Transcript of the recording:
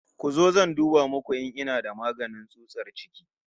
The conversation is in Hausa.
Ku zo zan duba muku in ina da magani tsutsar ciki